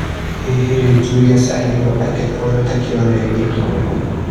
Hihi rĩ Julius araigua atĩa kwoywo ta kĩonereria kĩega?